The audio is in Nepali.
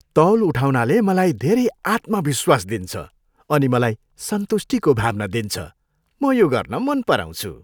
तौल उठाउनाले मलाई धेरै आत्मविश्वास दिन्छ अनि मलाई सन्तुष्टिको भावना दिन्छ। म यो गर्न मन पराउँछु।